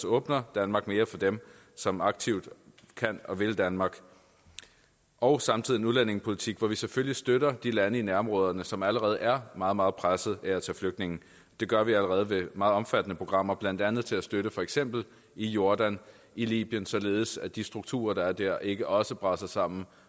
åbner danmark mere for dem som aktivt kan og vil danmark og samtidig en udlændingepolitik hvor vi selvfølgelig støtter de lande i nærområderne som allerede er meget meget pressede af at tage flygtninge det gør vi allerede ved meget omfattende programmer blandt andet til at støtte i for eksempel jordan i libyen således at de strukturer der er der ikke også braser sammen